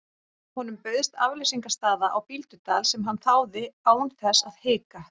Honum bauðst afleysingarstaða á Bíldudal sem hann þáði án þess að hika.